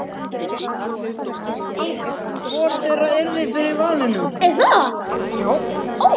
Hvor þeirra yrði fyrir valinu?